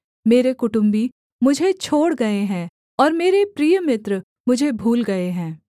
मेरे कुटुम्बी मुझे छोड़ गए हैं और मेरे प्रिय मित्र मुझे भूल गए हैं